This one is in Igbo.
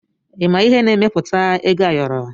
Ịma ihe na-emepụta ego ayọrọ?